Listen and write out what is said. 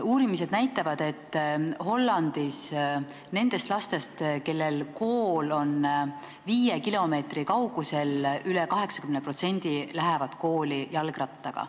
Uurimused näitavad, et Hollandis lähevad nendest lastest, kelle kool on viie kilomeetri kaugusel, üle 80% kooli jalgrattaga.